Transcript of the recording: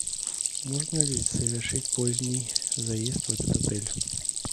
можно ли совершить поздний заезд в этот отель